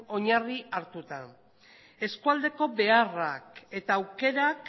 oinarri hartuta eskualdeko beharrak eta aukerak